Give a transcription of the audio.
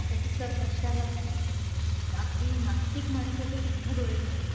त्याची सर कशालाच नाही. अगदीं नास्तिक माणसाचे सुद्धा डोळे भरून येतील;